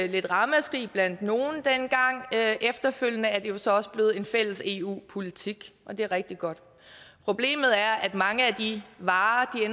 lidt ramaskrig blandt nogle dengang efterfølgende er det jo så også blevet en fælles eu politik og det er rigtig godt problemet er at mange af de varer